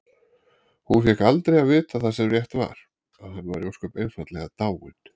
Hún fékk aldrei að vita það sem rétt var: að hann væri ósköp einfaldlega dáinn.